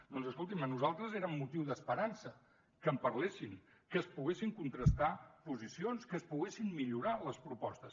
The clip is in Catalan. doncs escolti’m a nosaltres eren motiu d’esperança que en parlessin que es poguessin contrastar posicions que es poguessin millorar les propostes